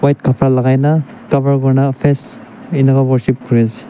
white khapra lagaina cover kurina face enika worship kuri ase.